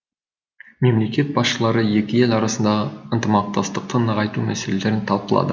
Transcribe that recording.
мемлекет басшылары екі ел арасындағы ынтымақтастықты нығайту мәселелерін талқылады